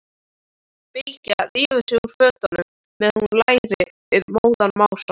Bylgja rífur sig úr fötunum meðan hún lætur móðan mása.